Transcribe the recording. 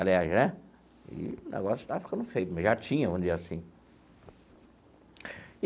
Aliás né, e o negócio estava ficando feio, mas já tinha um dia assim.